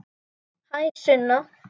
Hæ, Sunna.